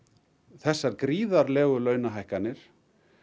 þessar gríðarlegu launahækkanir